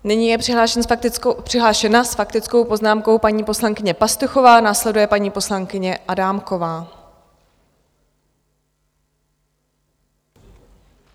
Nyní je přihlášena s faktickou poznámkou paní poslankyně Pastuchová, následuje paní poslankyně Adámková.